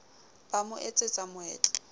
ba ra mo etsetsa meetlo